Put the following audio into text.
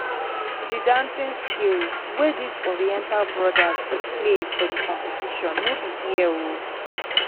the dancing skills wey dis oriental brothers display for di competition no be here o